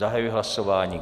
Zahajuji hlasování.